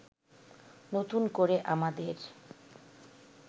নতুন করে আমাদের